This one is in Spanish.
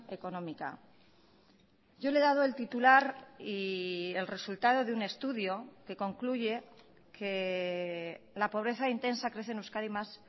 económica yo le he dado el titular y el resultado de un estudio que concluye que la pobreza intensa crece en euskadi más